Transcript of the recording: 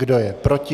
Kdo je proti?